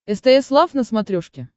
стс лав на смотрешке